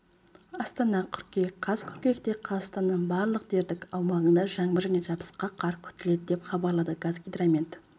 астана қыркүйек қаз қыркүйекте қазақстанның барлық дердік аумағында жаңбыр және жабысқақ қар күтіледі деп хабарлады қазгидромет